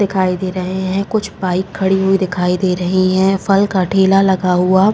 दिखाई दे रहे हैं। कुछ बाइक खड़ी हुई दिखाई दे रही हैं। फल का ठेला लगा हुआ --